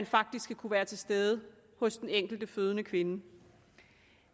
faktisk skal kunne være til stede hos den enkelte fødende kvinde